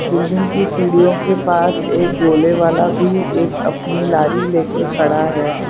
Building की सिड़ियों के पास एक गोलेवाला भी एक अपनी लारी लेके खड़ा है।